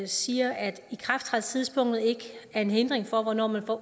siger at ikrafttrædelsestidspunktet ikke er en hindring for hvornår man får